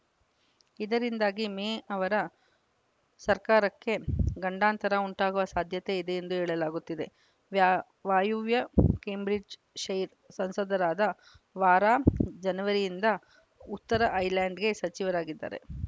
ಇದರಿಂದಾಗಿ ಮೇ ಅವರ ಸರ್ಕಾರಕ್ಕೆ ಗಂಡಾಂತರ ಉಂಟಾಗುವ ಸಾಧ್ಯತೆ ಇದೆ ಎಂದು ಹೇಳಲಾಗುತ್ತಿದೆ ವ್ಯಾ ವಾಯುವ್ಯ ಕ್ಯಾಂಬ್ರಿಜ್ಡ್‌ ಶೈರ್‌ ಸಂಸದರಾದ ವಾರಾ ಜನವರಿಯಿಂದ ಉತ್ತರ ಐರ್ಲೆಂಡ್‌ಗೆ ಸಚಿವರಾಗಿದ್ದರು